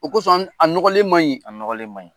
O kosɔn, a nɔgɔlen man ɲi. A nɔgɔlen man ɲi.